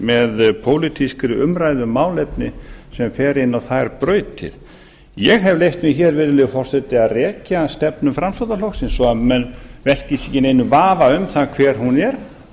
með pólitískri umræðu um málefni sem fer inn á þær brautir ég hef leyft mér hér virðulegi forseti að rekja stefnu framsóknarflokksins svo að menn velkist ekki í neinum vafa um það hver hún er